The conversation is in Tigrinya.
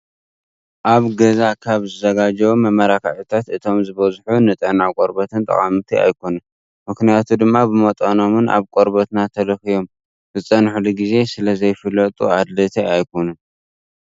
ኣብ ገዛ ካብ ዝዘጓጀው መመላኪዒታት እቶም ዝበዝሑ ንጥዕና ቆርበትና ጠቐምቲ ኣይኾኑን። ምክንያቱ ድማ ብመጠኖኖምን ኣብ ቆርበትና ተለኽዮም ዝፀንሕሉ ግዜ ስለዘይፍለጡ ኣድለይቲ ኣይኾኑን።